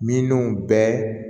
Mininw bɛɛ